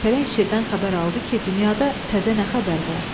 Pələng şirdən xəbər aldı ki, dünyada təzə nə xəbər var?